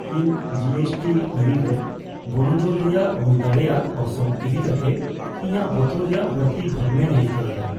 ᱤᱧ ᱡᱤᱹ ᱮᱥᱹᱴᱤ ᱟᱹᱨᱤ ᱨᱮ ᱵᱚᱱᱚᱫᱚᱞ ᱨᱮᱭᱟᱜ ᱦᱩᱭ ᱫᱟᱲᱮᱭᱟᱜ ᱚᱨᱥᱚᱝ ᱤᱫᱤ ᱠᱟᱛᱮ ᱤᱧᱟᱹᱜ ᱵᱚᱛᱚᱨ ᱨᱮᱭᱟᱜ ᱵᱟᱹᱲᱛᱤ ᱵᱷᱟᱵᱱᱟᱧ ᱟᱹᱭᱠᱟᱹᱣ ᱮᱫᱟ ᱾